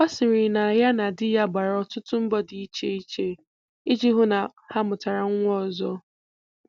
Ọ sịrị na ya na di ya gbara ọtụtụ mbọ dị iche iche iji hụ na ha mụtara nwa ọzọ